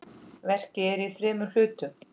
Verkið er í þremur hlutum.